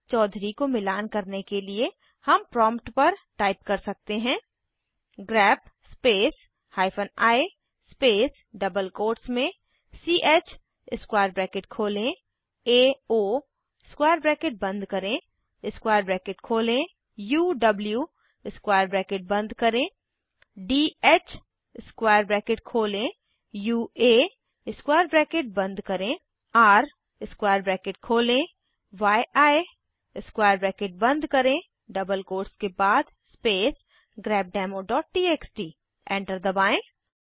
चौधुर्य को मिलान करने के लिए हम प्रॉम्प्ट पर टाइप कर सकते हैं grep space hyphen I space double quotes में च स्क्वायर ब्रैकेट खोलें एओ स्क्वायर ब्रैकेट बंद करें स्क्वायर ब्रैकेट खोलें उव स्क्वायर ब्रैकेट बंद करें ध स्क्वायर ब्रैकेट खोलें यूए स्क्वायर ब्रैकेट बंद करें र स्क्वायर ब्रैकेट खोलें यी स्क्वायर ब्रैकेट बंद करें डबल कोट्स के बाद स्पेस grepdemoटीएक्सटी एंटर दबाएं